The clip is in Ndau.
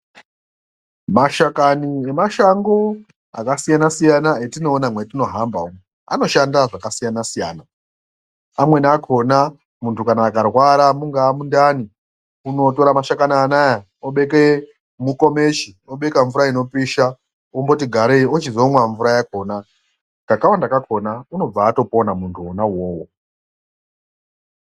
Mashakani nemashango akasiyana-siyana etinoona mwetinohamba umu anoshanda zvakasiyana-siyana. Amweni akona muntu kana akarwara mungaa mundani unotora mashakani anaya obeke mukomechi obeka mvura inopisha omboti garei ochizomwa mvura yakona, kakawanda kakona unobva atopona muntu vovovo.